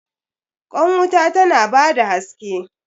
Kwan wuta tana ba da haske.